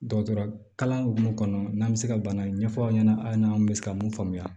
Dɔgɔtɔrɔ kalan hukumu kɔnɔ n'an bɛ se ka bana ɲɛfɔ aw ɲɛna aw n'an bɛ se ka mun faamuya